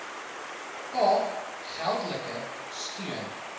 kaap geldelike steun